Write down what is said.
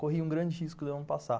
Corri um grande risco de eu não passar.